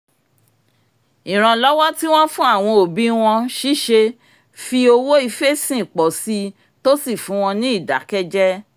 ìrànlọ́wọ́ tí wọ́n fún àwọn òbí wọn ṣíṣe fí owó ifẹ́sìn pọ̀ síi tó sì fún wọn ní ìdákẹ́jẹ